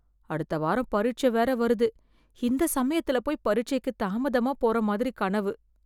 அடுத்த வாரம் பரீட்ச வேற வருது. இந்த சமயத்துல போய் பரீட்சைக்கு தாமதமா போற மாதிரி கனவு.